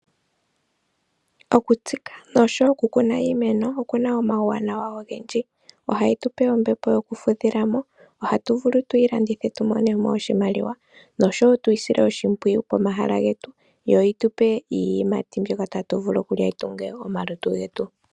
Okutsika noshowo oku kuna iimeno, okuna omauwanawa ogendji. Ohayi tupe ombepo yoku fudhila mo, ohatu vulu tuyi landithe tu mone mo oshimaliwa, noshowo tu isile oshimpwiyu pomahala getu, yo yi tupe iiyimati mbyoka tatu vulu okulya, yi tunge omalutu getu.